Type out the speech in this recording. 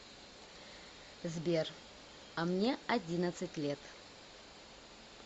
сбер а мне одиннадцать лет